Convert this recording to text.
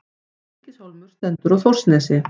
Stykkishólmur stendur á Þórsnesi.